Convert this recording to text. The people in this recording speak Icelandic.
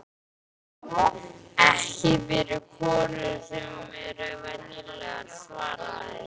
Ekki fyrir konur sem eru venjulegar, svaraði